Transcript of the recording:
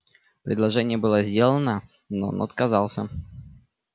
предложение было сделано но он отказался